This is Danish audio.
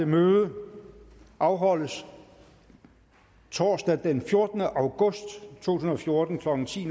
møde afholdes torsdag den fjortende august to tusind og fjorten klokken ti